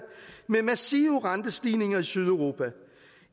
med massive rentestigninger i sydeuropa